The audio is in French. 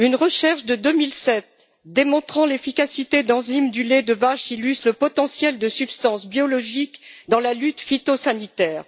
Une recherche de 2007 démontrant l'efficacité d'enzymes du lait de vache illustre le potentiel de substances biologiques dans la lutte phytosanitaire.